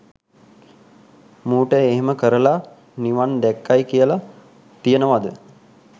මූට එහෙම කරලා නිවන් දැක්කයි කියල තියෙනවද?